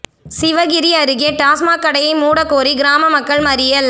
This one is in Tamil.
சிவகிரி அருகே டாஸ்மாக் கடையை மூடக் கோரி கிராம மக்கள் மறியல்